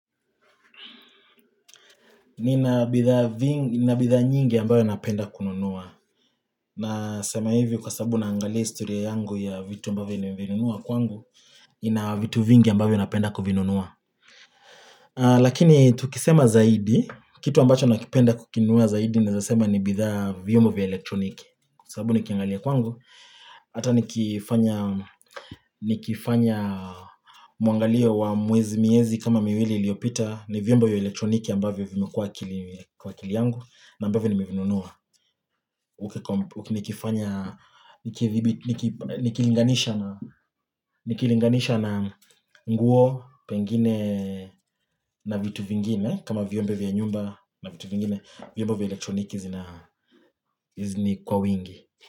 Nina bidhaa nyingi ambayo napenda kununua Nasema hivi kwa sababu naangalia historia yangu ya vitu ambayo nimevinunua kwangu ina vitu vingi ambavyo napenda kuvinunua Lakini tukisema zaidi, kitu ambacho nakipenda kukinua zaidi naeza sema ni bidhaa vyombo vya elektroniki sababu nikiangalia kwangu Hata nikifanya mwangalio wa miezi kama miwili iliopita, ni vyombo vya elektroniki ambavyo vimekua akilini, kwa akili yangu na ambavyo nimivinunua nikifanya Nikilinganisha na, nikilinganisha na nguo pengine na vitu vingine kama vyombo vya nyumba vyombo vya elektroniki zina, hizi ni kwa wingi.